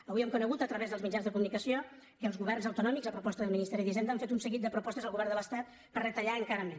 avui hem conegut a través dels mitjans de comunicació que els governs autonòmics a proposta del ministeri d’hisenda han fet un seguit de propostes al govern de l’estat per retallar encara més